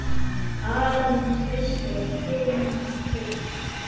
Aron Trausti og Tinna Birna.